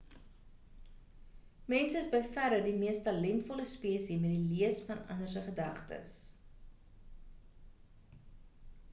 mense is by verre die mees talentvolle spesie met die lees van ander se gedagtes